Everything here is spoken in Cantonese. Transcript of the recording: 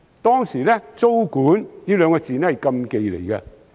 當時，"租管"二字是禁忌。